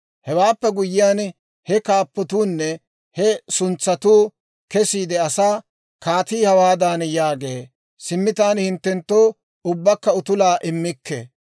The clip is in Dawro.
Hewaappe guyyiyaan, he kaappotuunne he suntsatuu kesiide asaa, «Kaatii hawaadan yaagee; ‹Simmi taani hinttenttoo ubbakka utulaa immikke;